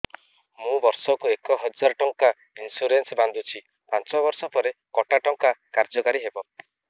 ମୁ ବର୍ଷ କୁ ଏକ ହଜାରେ ଟଙ୍କା ଇନ୍ସୁରେନ୍ସ ବାନ୍ଧୁଛି ପାଞ୍ଚ ବର୍ଷ ପରେ କଟା ଟଙ୍କା କାର୍ଯ୍ୟ କାରି ହେବ